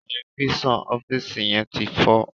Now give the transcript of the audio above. Tẹlifíṣàn ọfiisi yén tí fọ